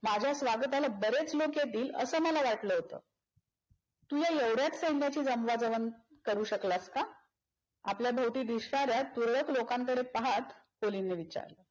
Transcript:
माझ्या स्वागताला बरेच लोक येतील अस मला वाटल होत. तुला एवढ्याच सैन्याची जमवाजवम करू शकलास का? आपल्या भवति दिसणाऱ्या तुरळक लोकांकडे पाहात कोलिनने विचारल.